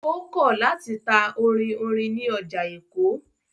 Ó kọ̀ láti ta orin orin ní ọjà Èkó.